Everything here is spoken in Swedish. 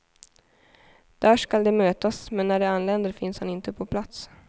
Där ska de mötas, men när de anländer finns han inte på plats.